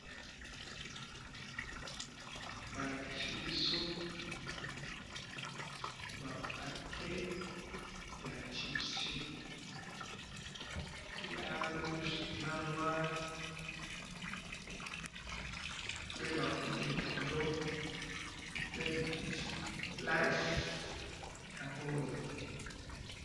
Balakisi bisi awa ba pake ya chips, bakomi Lays.